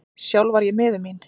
Sjálf var ég miður mín.